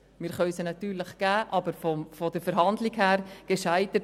Wir können sie natürlich trotzdem zahlen, aber die Verhandlungen selber sind gescheitert.